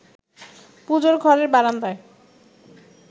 পুজোর ঘরের বারান্দায়